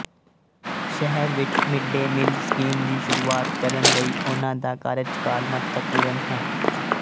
ਸ਼ਹਿਰ ਵਿੱਚ mid day meal scheme ਦੀ ਸ਼ੁਰੂਆਤ ਕਰਨ ਲਈ ਉਹਨਾਂ ਦਾ ਕਾਰਜਕਾਲ ਮਹੱਤਵਪੂਰਨ ਹੈ